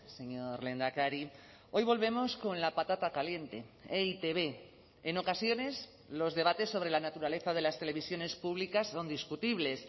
señor lehendakari hoy volvemos con la patata caliente e i te be en ocasiones los debates sobre la naturaleza de las televisiones públicas son discutibles